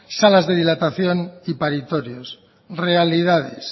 salas de dilatación y paritorios realidades